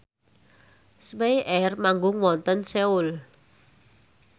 spyair manggung wonten Seoul